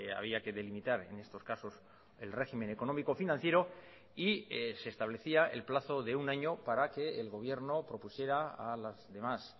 había que delimitar en estos casos el régimen económico financiero y se establecía el plazo de un año para que el gobierno propusiera a las demás